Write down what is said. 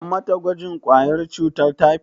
An mata gwajin ƙwayar cutar taifot?